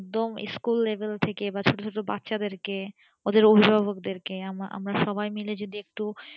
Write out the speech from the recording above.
একদম school level থেকে বা ছোট ছোট বাচ্চাদেরকে ওদের অভিভাবকদেরকে আমরা আমরা সবাই মিলে যদি একটু